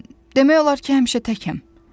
Mən demək olar ki, həmişə təkəm.